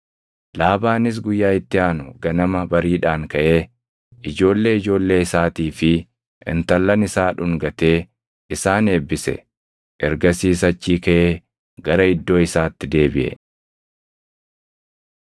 Laabaanis guyyaa itti aanu ganama bariidhaan kaʼee ijoollee ijoollee isaatii fi intallan isaa dhungatee isaan eebbise. Ergasiis achii kaʼee gara iddoo isaatti deebiʼe.